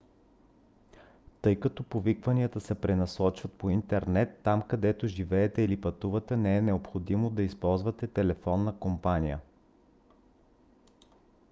тъй като повикванията се пренасочват по интернет там където живеете или пътувате не е необходимо да използвате телефонна компания